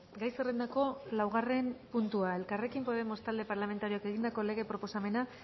gai zerrendako laugarren puntua elkarrekin podemos talde parlamentarioak egindako lege proposamena